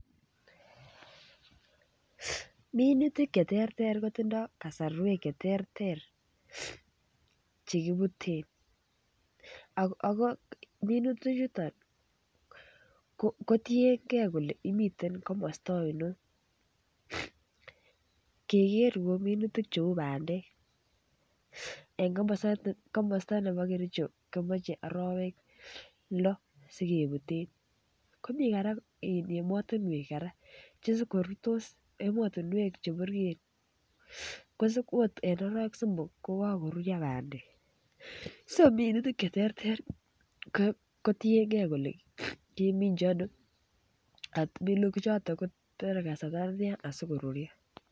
Minutik Che terter kotindoi kasarwek Che ter Che kibuten ago minutichuton kotienge kole imiten komosta ainon ingeker kou minutik cheu bandek en komosta nebo Kericho komoche arawek lo si kebute komi kora emotinwek kora Che sib ko rurtos emotinwek Che burgei ko okot en arawek somok ko kagoruryo bandek so minutik Che terter ko tienge kole keminchi ano ako minutichuton kotore kasarta netian asi koruryo